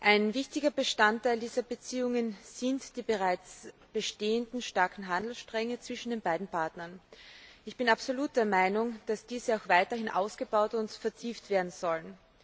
Ein wichtiger Bestandteil dieser Beziehungen sind die bereits bestehenden starken Handelsstränge zwischen den beiden Partnern. Ich bin absolut der Meinung, dass diese auch weiterhin ausgebaut und vertieft werden sollen.